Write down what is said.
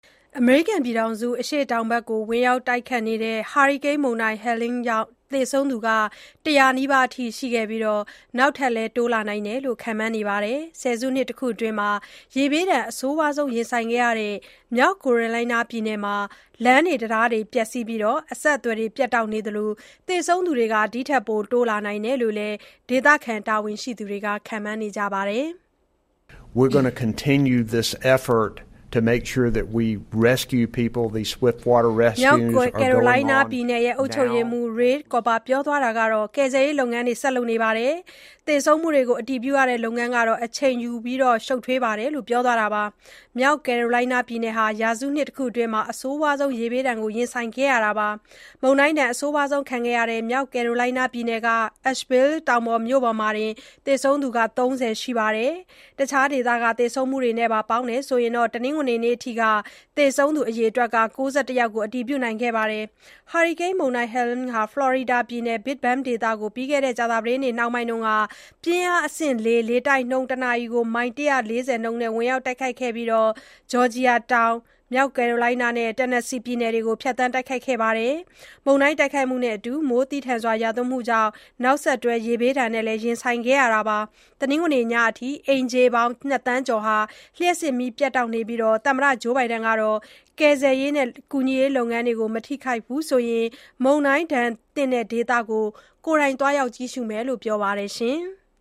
အမေရိကန် ပြည်ထောင်စု အရှေ့တောင်ဖက်ကို ဝင်ရောက်ခဲ့တဲ့ ဟာရီကိန်းမုန်တိုင်း Helene ကြောင့် သေဆုံးသူ ၁၀၀ နီးပါး ရှိခဲ့ပြီး နောက်ထပ် တိုးလာနိုင်တယ်လို့လည်း ခန့်မှန်းနေပါတယ်။ ဆယ်စုနှစ် တခုအတွင်း ရေဘေးဒဏ်အဆိုးဆုံးခံခဲ့ရတဲ့ မြောက်ကယ်ရိုလိုင်းနား ပြည်နယ်မှာ လမ်းတွေ၊ တံတားတွေပျက်စီးပြီး အဆက်အသွယ်တွေ ပြတ်တောက်နေသလို၊ သေဆုံးသူတွေ တိုးလာနိုင်တယ်လို့လည်း ဒေသခံတာဝန်ရှိသူတွေက ခန့်မှန်းနေကြပါတယ်။ "ကယ်ဆယ်ရေးလုပ်ငန်းတွေ ဆက်လုပ်နေပြီး၊ သေဆုံးမှုတွေကို အတည်ပြုရတဲ့ လုပ်ငန်းကတော့ အချိန်ယူပြီး၊ ရှုပ်ထွေးပါတယ်" လို့ မြောက်ကယ်ရိုလိုင်းနားပြည်နယ် အုပ်ချုပ်ရေးမှူး Roy Cooper ပြောပါတယ်။ မြောက်ကယ်ရိုလိုင်းနားပြည်နယ်ဟာ ရာစုနှစ် တခုအတွင်း အဆိုးဆုံး ရေဘေးဒဏ်ကြုံခဲ့ရတာပါ။ မုန်တိုင်းဒဏ် အဆိုးဆုံးခံခဲ့ရတဲ့ မြောက်ကယ်ရိုလိုင်းနား ပြည်နယ်က Asheville တောင်ပေါ်မြို့မှာတင် သေဆုံးသူ ၃၀ ရှိခဲ့တာပါ။ တခြားဒေသတွေက သေဆုံးမှုတွေနဲ့ပါ ပေါင်းရင်တော့ တနင်္ဂနွေနေ့အထိ သေဆုံးသူ အရေအတွက် ၉၁ ယောက်ကို အတည်ပြုထားပါတယ်။ ဟာရီကိန်းမုန်တိုင်း Helene ဟာ Florida ပြည်နယ်၊ Big Bend ဒေသကို ပြီးခဲ့တဲ့ ကြာသပတေးနေ့ နှောင်းပိုင်းမှာ ပြင်းအားအဆင့် ၄ လေတိုက်နှုန်း တနာရီ မိုင် ၁၄၀ နှုန်းနဲ့ ဝင်ရောက်ခဲ့ပြီး၊ Georgia, တောင်၊ မြောက် Carolina နဲ့ Tennessee ပြည်နယ်တွေကို ဖြတ်သန်း တိုက်ခတ်ခဲ့ပါတယ်။ မုန်တိုင်းနဲ့အတူ မိုးသည်းထန်ရွာသွန်းမှုတွေကြောင့် နောက်ဆက်တွဲ ရေဘေးနဲ့လည်း ရင်ဆိုင်ခဲ့ရတာပါ။ တနင်္ဂနွေနေ့ ညအထိ အိမ်ခြေ ၂ သန်းကျော်ဟာ လျှပ်စစ်မီးတွေ ပြတ်တောက်နေပါတယ်။ သမ္မတ Joe Biden ကတော့ ကယ်ဆယ်၊ ကူညီရေး လုပ်ငန်းတွေကို မထိခိုက်ဘူးဆိုရင် မုန်တိုင်းဒဏ်သင့် ဒေသကို သွားရောက်ကြည့်ရှုမယ်လို့ ပြောပါတယ်။